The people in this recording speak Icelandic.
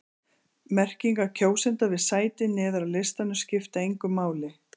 Merkingar kjósenda við sæti neðar á listanum skipta engu máli.